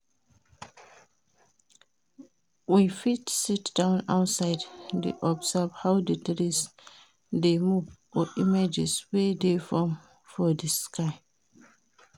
We fit sit-down outside de observe how di trees de move or images wey de form for di sky